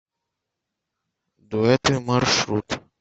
дуэты маршрут